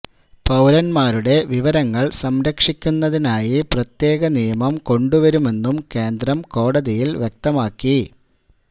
പൌരന്മാരുടെ വിവരങ്ങള് സംരക്ഷിക്കുന്നതിനായി പ്രത്യേക നിയമം കൊണ്ടുവരുമെന്നും കേന്ദ്രം കോടതയില് വ്യക്തമാക്കി